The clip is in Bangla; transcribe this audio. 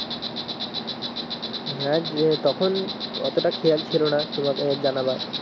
হ্যাঁ যে তখন অতটা খেয়াল ছিলোনা তোমাকে জানবার